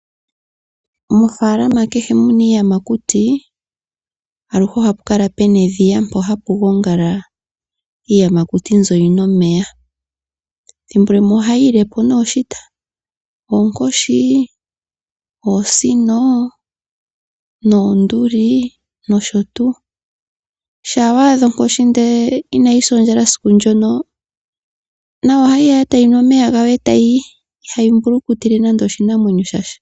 Mofaalama kehe muna iiyamakuti, aluhe ohapukala puna edhiya mpo hapugongala iiyamati mbyo yinwe omeya. Thimbo limwe ohayiyilepo nee oshita onkoshi, oosino noonduli nosho tuu. Shaa waadha onkoshi ndele inayisa ondjala esiku ndjono nayo ohayiya owala etayinu omeya gayo etayiyi ihayimbulukitile nando oshinamwenyo shasha.